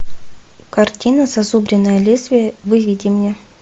картина зазубренное лезвие выведи мне